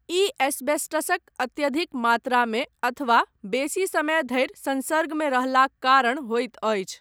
ई एस्बेस्टसक अत्यधिक मात्रामे अथवा बेसी समय धरि संसर्गमे रहलाक कारण होइत अछि।